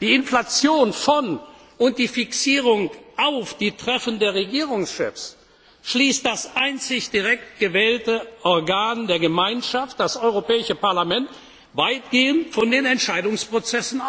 die Inflation von und die Fixierung auf die Treffen der Regierungschefs, schließt das einzig direkt gewählte Organ der Gemeinschaft, das Europäische Parlament, weitgehend von den Entscheidungsprozessen